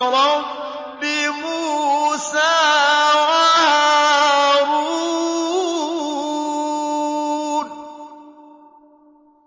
رَبِّ مُوسَىٰ وَهَارُونَ